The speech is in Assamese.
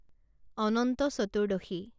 অনন্ত চতুৰ্দশী